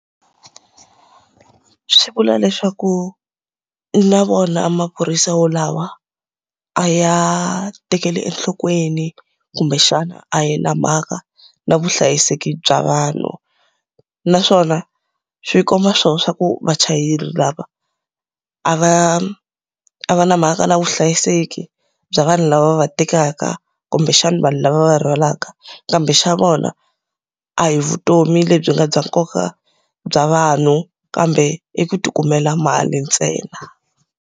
Swi vula leswaku na vona a maphorisa walawo a ya tekeli enhlokweni kumbexana a ya na mhaka na vuhlayiseki bya vanhu. Naswona swi komba swona swa ku vachayeri a va a va na mhaka na vuhlayiseki bya vanhu lava va tekaka kumbexana vanhu lava va va rhwalaka. Kambe xa vona a hi vutomi lebyi nga bya nkoka bya vanhu, kambe i ku ti kumela mali ntsena.